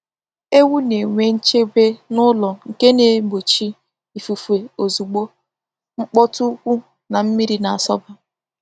Ewu na-enwe nchebe n'ụlọ nke na-egbochi ifufe ozugbo, mkpọtụ ukwu, na mmiri na-asọba.